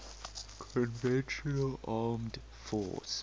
conventional armed forces